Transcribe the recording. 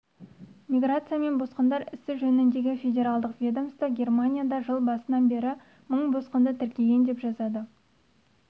миграция және босқындар ісі жөніндегі федералдық ведомство германияда жыл басынан бері мың босқынды тіркеген деп жазады